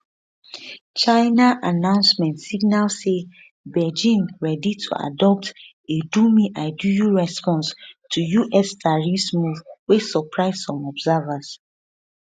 china announcement signal say beijing ready to adopt a domeidoyou response to us tariffs move wey surprise some observers